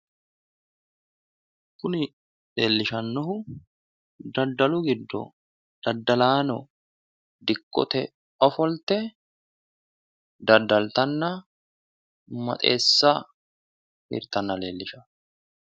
Kuni leellishannohu daddalu giddo daddalaanno dikkote giddo ofolte daddalttanna maxeessa hirtanna lellishanno.